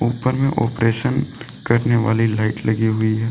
ऊपर में ऑपरेशन करने वाली लाइट लगी हुई है।